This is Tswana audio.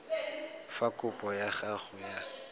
fa kopo ya gago ya